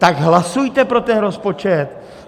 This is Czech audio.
Tak hlasujte pro ten rozpočet!